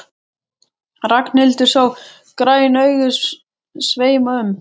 Ragnhildur sá græn augun sveima um.